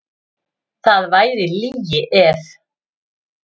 Það væri lygi ef.